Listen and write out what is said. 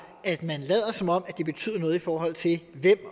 at man lader som om det betyder noget i forhold til hvem